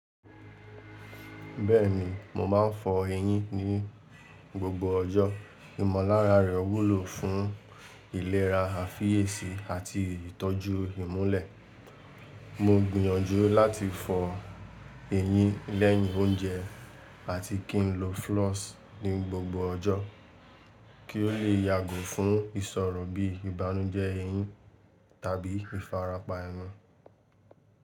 Bẹ́ẹ̀ni, mo máa ń fọ eyín ní gbogbo ọjọ́. Ìmọllára rẹ̀ wúlò fún ìlera àfìyèsí àti ìtọ́jú ìmulẹ̀. Mo gbiyànjú láti fọ eyín lẹ́yìn oúnjẹ àti kí ń lo floss ní gbogbo ọjọ́, kí ó le yàgò fún ìṣọ̀rọ̀ bí ìbánújẹ́ eyín tàbí ìfarapa ẹnu.